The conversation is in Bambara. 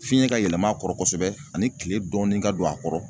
Fiɲɛ ka yɛlɛm'a kɔrɔ kosɛbɛ ani kile dɔɔnin ka don a kɔrɔ